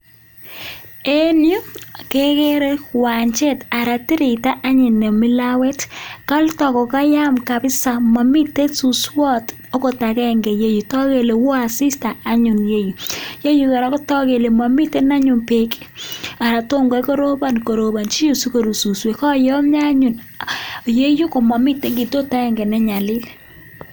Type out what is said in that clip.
En yu kekere uwanjet anan tireito anyun nemi lawet kale takokayam kabisa maimte suswot angot akenge yu toku kele kawo asista anyun ole ke yu yeyu kora kotagu kele mamiten anyun beek anan tomgoi korobon korobonji yu sikoru suswek kooyomio anyun yeyu komamite kitot akenge ne nyalil.